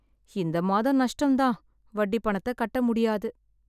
இந்த மாதம் நஷ்டம் தான். வட்டி பணத்தக் கட்ட முடியாது.